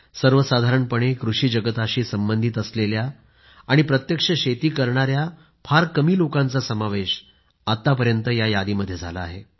सर्वसाधारणपणे कृषी जगताशी संबंधित असलेल्या आणि प्रत्यक्ष शेती करणाया फार कमी लोकांचा समावेश आत्तापर्यंत पद्म पुरस्कारांच्या यादीमध्ये झाला आहे